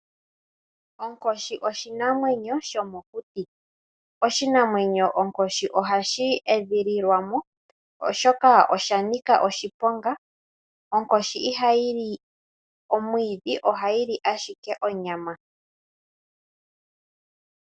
Onkoshi oshinamwenyo shomokuti. Oshinamwenyo onkoshi ohadhi edhililwamo, oshoka osha nika oshiponga. Onkoshi ihayi li omwiidhi, ohayi li ashike onyama.